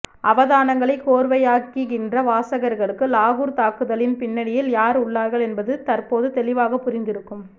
அவதானங்களை கோர்வையாக்குகின்ற வாசகர்களுக்கு லாகூர் தாக்குதலின் பின்னணியில் யார் உள்ளார்கள் என்பது தற்போது தெளிவாக புரிந்திருக்கும்